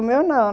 O meu não.